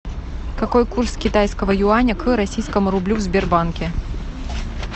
какой курс китайского юаня к российскому рублю в сбербанке